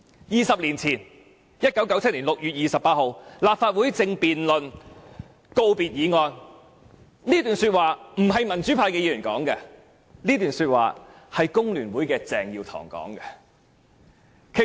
"二十年前在1997年6月28日，立法會正在辯論告別議案，這不是民主派議員所說的，而是工聯會鄭耀棠所說的話。